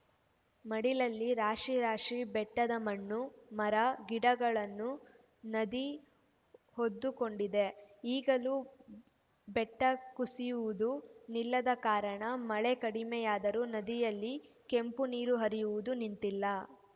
ಮಡಿಲಲ್ಲಿ ರಾಶಿ ರಾಶಿ ಬೆಟ್ಟದ ಮಣ್ಣು ಮರ ಗಿಡಗಳನ್ನು ನದಿ ಹೊದ್ದುಕೊಂಡಿದೆ ಈಗಲೂ ಬೆಟ್ಟಕುಸಿಯುವುದು ನಿಲ್ಲದ ಕಾರಣ ಮಳೆ ಕಡಿಮೆಯಾದರೂ ನದಿಯಲ್ಲಿ ಕೆಂಪು ನೀರು ಹರಿಯುವುದು ನಿಂತಿಲ್ಲ